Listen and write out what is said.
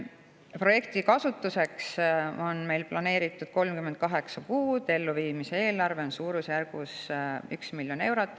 Projektiks on planeeritud 38 kuud, elluviimise eelarve on suurusjärgus 1 miljon eurot.